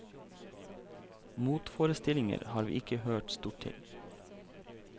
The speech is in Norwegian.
Motforestillinger har vi ikke hørt stort til.